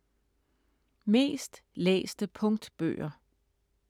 Mest læste punktbøger